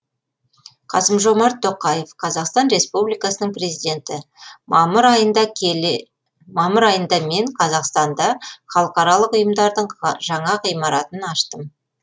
қасым жомарт тоқаев қазақстан республикасының президенті мамыр айында мен қазақстанда халықаралық ұйымдардың жаңа ғимаратын аштым